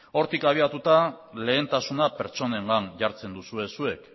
hortik abiatuta lehentasuna pertsonengan jartzen duzue zuek